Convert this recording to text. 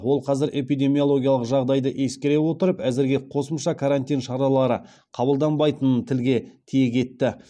ол қазір эпидемиологиялық жағдайды ескере отырып әзірге қосымша карантин шаралары қабылданбайтынын тілге тиек етті